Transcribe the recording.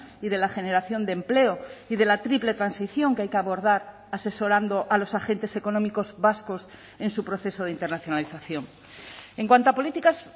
y de la generación de empleo y de la triple transición que hay que abordar asesorando a los agentes económicos vascos en su proceso de internacionalización en cuanto a políticas